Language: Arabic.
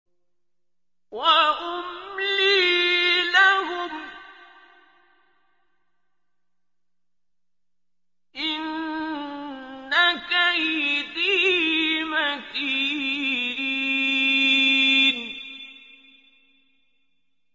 وَأُمْلِي لَهُمْ ۚ إِنَّ كَيْدِي مَتِينٌ